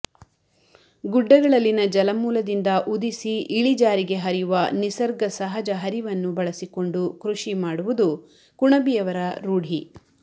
ಗುಡ್ಡಗಳಲ್ಲಿನ ಜಲಮೂಲದಿಂದ ಉದಿಸಿ ಇಳಿಜಾರಿಗೆ ಹರಿಯುವ ನಿಸರ್ಗ ಸಹಜ ಹರಿವನ್ನು ಬಳಸಿಕೊಂಡು ಕೃಷಿಮಾಡುವುದು ಕುಣಬಿಯರ ರೂಢಿ